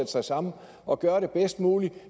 sig sammen og gøre det bedst muligt